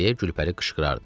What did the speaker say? deyə Gülpəri qışqırardı.